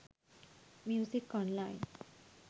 music online